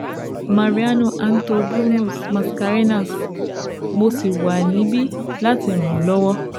Mariano Anto Bruno Mascarenhas, mo sì wà nibi lati ran ọ lọ́wọ́